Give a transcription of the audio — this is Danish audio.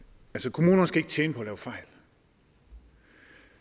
kommunerne skal ikke tjene på at lave fejl